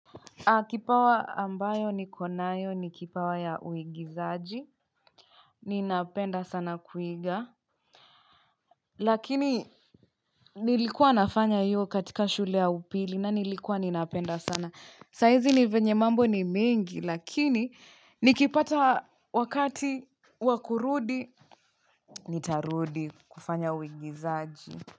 Kipawa ambayo niko nayo ni kipawa ya uigizaji. Ninapenda sana kuiga. Lakini nilikua nafanya hiyo katika shule ya upili na nilikua ninapenda sana. Saizi ni vyenye mambo ni mengi lakini nikipata wakati wa kurudi nitarudi kufanya uigizaji.